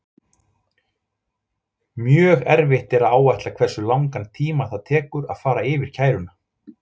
Mjög erfitt er að áætla hversu langan tíma það tekur að fara yfir kæruna.